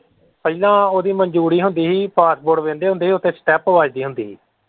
ਪਹਿਲਾਂ ਉਹਦੀ ਮਨਜੂਰੀ ਹੁੰਦੀ ਹੀ passport ਵੇਖਦੇ ਹੁੰਦੇ ਹੀ ਉੱਥੇ stump ਵੱਜਦੀ ਹੁੰਦੀ ਹੀ।